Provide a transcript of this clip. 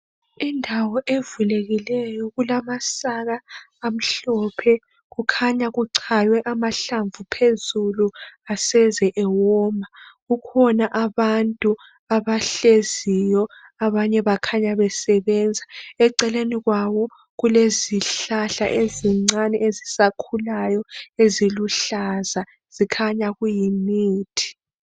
Indawo evulekileyo kulamasaka amhlophe. Kukhanya kuchaywe amahlamvu phezulu aseze ewoma. kukhona abantu abahleziyo abanye bakhanya besebenza. Eceleni kwabo kulezihlahla ezincane ezisakhulayo eziluhlaza. Zikhanya kuyimithi.